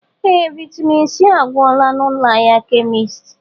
Ee! Vaịtamịn C agwụla n'ụlọ ahịa kemisti.